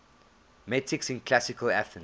metics in classical athens